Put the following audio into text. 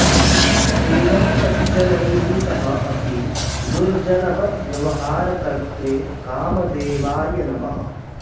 एवं सज्जनैः सह अपि दुर्जनवत् व्यवहारकर्त्रे कामदेवाय नमः